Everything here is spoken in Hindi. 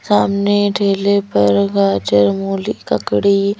सामने ठेले पर गाजर मूली ककड़ी--